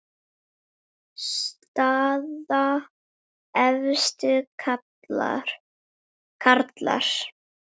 Staða efstu karla